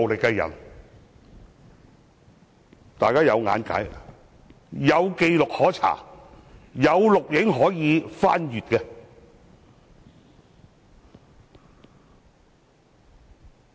這些都是大家均可見，有紀錄可查，有錄像可以翻看的。